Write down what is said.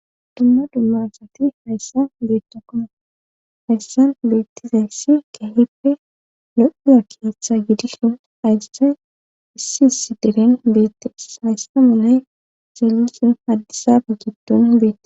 Dumma dumma asati hayssa beetta koma hayssan beettizayssi kehippe lo7uza kayaththa gidissun ayssan issi issi deren beettees hayssa manay zallusin haddisabe giddon beete.